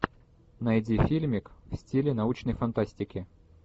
найди фильмик в стиле научной фантастики